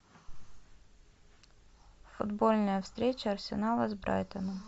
футбольная встреча арсенала с брайтоном